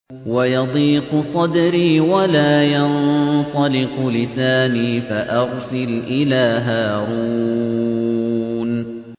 وَيَضِيقُ صَدْرِي وَلَا يَنطَلِقُ لِسَانِي فَأَرْسِلْ إِلَىٰ هَارُونَ